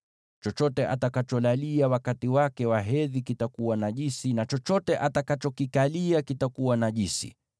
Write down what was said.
“ ‘Chochote atakacholalia wakati wake wa hedhi kitakuwa najisi, na chochote atakachokikalia kitakuwa najisi.